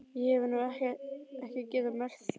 Ég hef nú ekki getað merkt það.